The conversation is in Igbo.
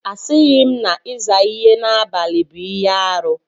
Asịghị m na ịza ihe n'abalị bụ ihe arụ.